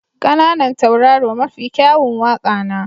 ƙananan tauraro mafi kyawun waƙa na.